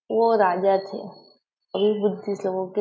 वो राजा थे इन बुद्दिष्ट लोगो के --